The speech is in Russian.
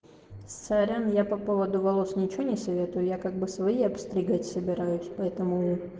сорян я по поводу волос ничего не советую я как бы свои обстригать собираюсь поэтому